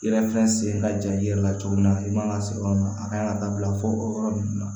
I yɛrɛ filɛ sen ka ja i yɛrɛ la cogo min na i man ka se yɔrɔ min na a kan ka dabila fɔ o yɔrɔ ninnu na